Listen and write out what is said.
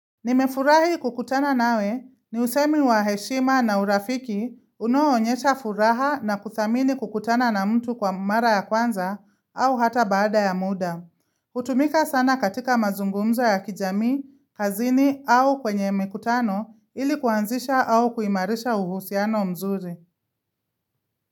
Nimefurahi kukutana nawe ni usemi wa heshima na urafiki unaoonyesha furaha na kuthamini kukutana na mtu kwa mara ya kwanza au hata baada ya muda. Kutumika sana katika mazungumzo ya kijami, kazini au kwenye mikutano ili kuanzisha au kuimarisha uhusiano mzuri.